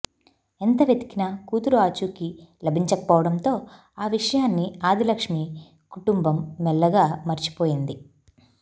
ఎంత వెతికినా కూతురు ఆచూకీ లభించకపోవడంతో ఆ విషయాన్ని ఆదిలక్ష్మి కుటుంబం మెల్లగా మర్చిపోయింది